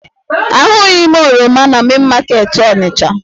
Ahụghị m oroma na Main market Onisha